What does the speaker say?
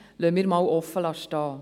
Das lassen wir so offen stehen.